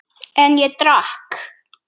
En ég drakk.